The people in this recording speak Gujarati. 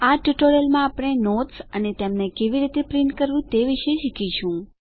આ ટ્યુટોરીયલ માં આપણે નોટ્સ અને તેમને કેવી રીતે પ્રિન્ટ કરવું તે વિશે શીખીશું